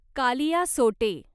कालियासोटे